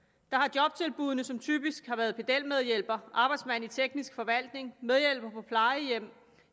jobtilbuddene som typisk har været pedelmedhjælper arbejdsmand i teknisk forvaltning medhjælper på plejehjem